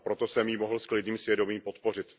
Proto jsem ji mohl s klidným svědomím podpořit.